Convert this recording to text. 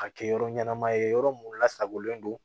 Ka kɛ yɔrɔ ɲɛnama ye yɔrɔ mun lasagolen don